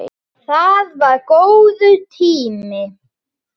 Það var það góður tími.